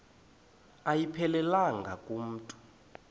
ayiphelelanga ku mntu